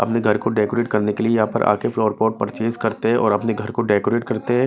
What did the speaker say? अपने घर को डेकोरेट करने के लिए यहां पर आकर फ्लावर पॉट परचेस करते हैं और अपने घर को डेकोरेट करते हैं।